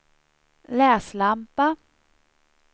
läslampa